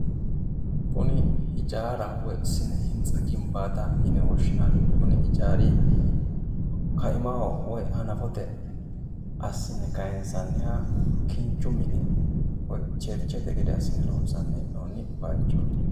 kuni hijaaraho woy sine hintsa ginbaataho yine woshshinanni kuni ijaari kai'maho woy hanafote assine kaayisanniha kinchu mine woy churchete gede assine loonsanni he'noonni baychooti.